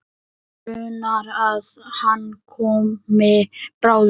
Mig grunar að hann komi bráðum.